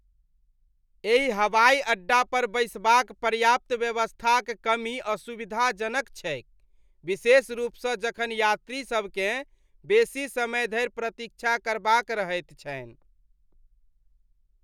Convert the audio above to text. एहि हवाइ अड्डा पर बैसबाक पर्याप्त व्यवस्थाक कमी असुविधाजनक छैक, विशेष रूपसँ जखन यात्रीसभकेँ बेसी समय धरि प्रतीक्षा करबाक रहैत छनि।